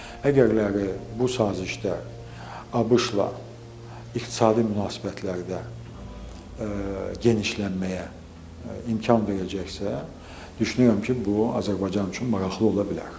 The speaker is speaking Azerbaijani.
Əgərləri bu sazişdə ABŞ-la iqtisadi münasibətlərdə genişlənməyə imkan verəcəksə, düşünürəm ki, bu Azərbaycan üçün maraqlı ola bilər.